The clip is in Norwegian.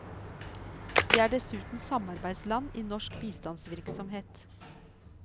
De er dessuten samarbeidsland i norsk bistandsvirksomhet.